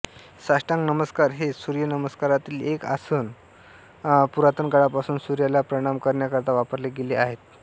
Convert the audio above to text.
साष्टांग नमस्कार हे सूर्यनमस्कारातील एक आसन पुरातनकाळापासून सूर्याला प्रणाम करण्याकरिता वापरले गेले आहे